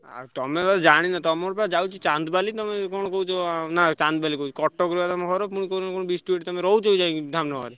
ଆଉ ତମେ ବୋଧେ ଜାଣିନ ତମର ବା ଯାଉଚି ଚାନ୍ଦବାଲି ତମେ କଣ କହୁଛ ନା ଚାନ୍ଦବାଲି କହୁଛି କଟକରେ ବା ତମ ଘର ପୁଣି କହୁଛ କଣ ବିଷ୍ଣୁ ଏଠି ତମେ ରହୁଛ ଯାଇକି ଧାମନଗର?